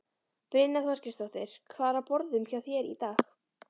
Brynja Þorgeirsdóttir: Hvað er á borðum hjá þér í dag?